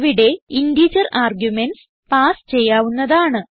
ഇവിടെ integer arguments pass ചെയ്യാവുന്നതാണ്